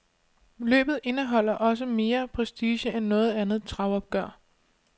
Løbet indeholder også mere prestige end noget andet travopgør.